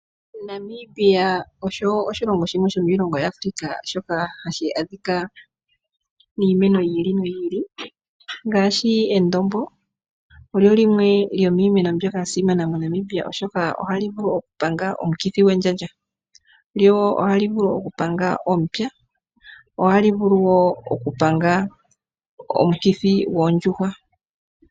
Namibia osho oshilongo shimwe sho miilongo ya Africa shoka hashi adhika iimeno yi ili noyi ili ngaashi endombo . Olyo limwe lyomiimeno mbyoka ya simana moNamibia oshoka ohalivulu okupanga omukithi gwendjandja ,lyo woo ohalivulu okupanga omupya ,ohali vulu woo okupanga omukithi yoondjuhwa.